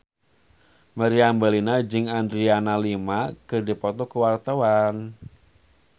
Meriam Bellina jeung Adriana Lima keur dipoto ku wartawan